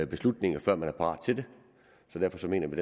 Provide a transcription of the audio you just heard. beslutninger før man er parat til det så derfor mener vi